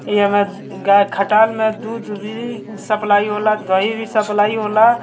इ हमर गाय के खटाल में दूध भी सप्लाई होला दही भी सप्लाई होला।